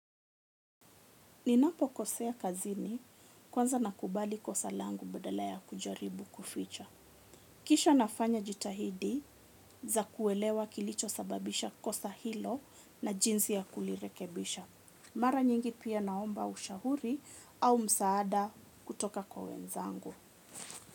Ninapokosea kazini kwanza nakubali kosa langu badala ya kujaribu kuficha. Kisha nafanya jitahidi za kuelewa kilichosababisha kosa hilo na jinsi ya kulirekebisha. Mara nyingi pia naomba ushahuri au msaada kutoka kwa wenzangu.